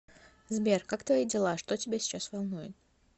сбер как твои дела что тебя сейчас волнует